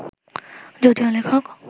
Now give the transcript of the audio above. যদিও লেখক